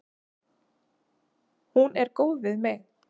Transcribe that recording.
Hún er góð við mig.